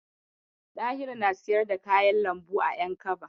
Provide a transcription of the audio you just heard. Ɗahiru na siyar da kayan lambu a Yankaba.